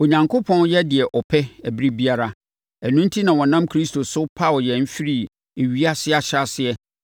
Onyankopɔn yɛ deɛ ɔpɛ ɛberɛ biara. Ɛno enti na ɔnam Kristo so paw yɛn firii ewiase ahyɛaseɛ,